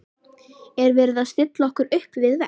Er verið að stilla okkur upp við vegg?